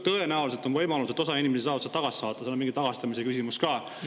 Tõenäoliselt on osal inimestel võimalus see tagasi saata, seal on mingi tagastamise ka.